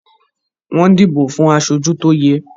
Wọ́n dìbò fún aṣojú tó yẹ